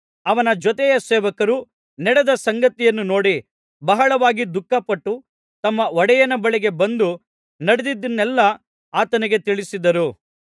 ಅವನ ಜೊತೆ ಸೇವಕರು ನಡೆದ ಸಂಗತಿಯನ್ನು ನೋಡಿ ಬಹಳವಾಗಿ ದುಃಖಪಟ್ಟು ತಮ್ಮ ಒಡೆಯನ ಬಳಿಗೆ ಬಂದು ನಡೆದದ್ದನ್ನೆಲ್ಲಾ ಆತನಿಗೆ ತಿಳಿಸಿದರು